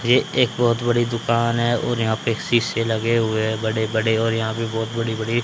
ये एक बहुत बड़ी दुकान है और यहां पे शीशे लगे हुए हैं बड़े बड़े और यहां पे बहुत बड़ी बड़ी--